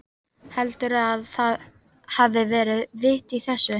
Heldurðu að það hafi verið vit í þessu?